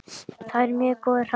Það er mjög góður hraði.